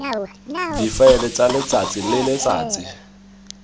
difaele tsa letsatsi le letsatsi